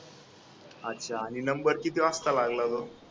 अच्छा नि number किती वाजता लागला मग?